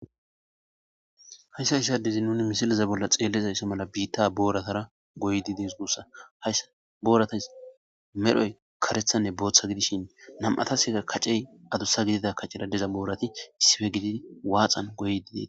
hayssa issi adezi nuni misiliza bolla xeellizayssa mala biitta booratara goydi des guussa, hayssa booratas medhoy karethanne booththa gidishin nam'ataseka kacey adussa gidida kaceradeza boorati issippe gididi waaxan goyd dees